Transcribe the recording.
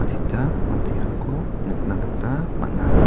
adita manderangko nikna gita man·a.